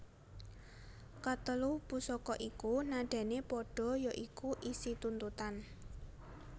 Katelu pusaka iku nadané padha ya iku isi tuntutan